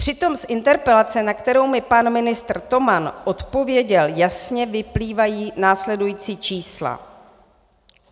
Přitom z interpelace, na kterou mi pan ministr Toman odpověděl, jasně vyplývají následující čísla.